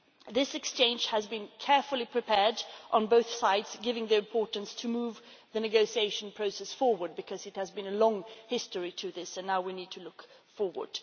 This exchange has been carefully prepared on both sides, given the importance of moving the negotiation process forward, because there has been a long history to this and now we need to look forward.